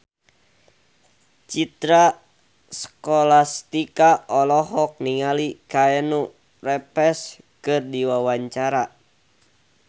Citra Scholastika olohok ningali Keanu Reeves keur diwawancara